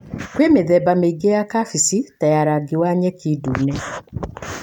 Kwĩ mĩthemba mĩingĩ ya kabeci ta ya rangi wa nyeki, ndune.